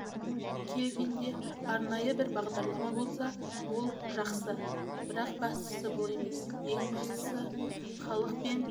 келгенде арнайы бір бағдарлама болса ол жақсы бірақ бастысы бұл емес ең бастысы халық пен